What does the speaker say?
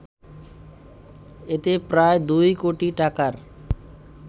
এতে প্রায় দুই কোটি টাকার